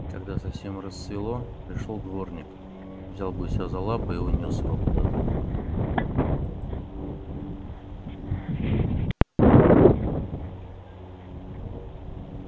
когда совсем рассвело пришёл дворник взял гуся за лапы и унёс его куда-то